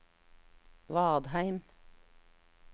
Vadheim